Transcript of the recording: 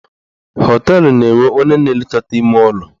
Họteelụ na-enwe onye na elekọta ime ụlọ.